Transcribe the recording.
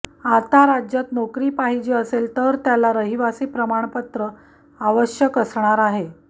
आता राज्यात नोकरी पाहिजे असेल तर त्याला रहिवासी प्रमाणपत्र आवश्यक असणार आहे